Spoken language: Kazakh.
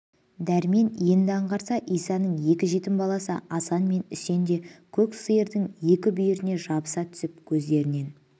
дәрмен енді аңғарса исаның екі жетім баласы асан мен үсен де көк сиырдың екі бүйіріне жабыса түсіп көздерінен